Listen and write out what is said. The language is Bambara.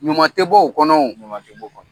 ɲuman tɛ bɔ o kɔnɔ wo.